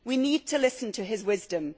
We need to listen to his wisdom.